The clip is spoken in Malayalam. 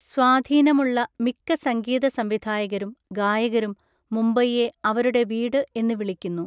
സ്വാധീനമുള്ള മിക്ക സംഗീതസംവിധായകരും ഗായകരും മുംബൈയെ അവരുടെ വീട് എന്ന് വിളിക്കുന്നു.